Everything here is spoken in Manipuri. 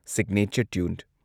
Signature tune.